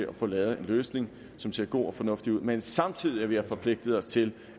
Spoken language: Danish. at få lavet en løsning som ser god og fornuftig ud men samtidig har forpligtet os til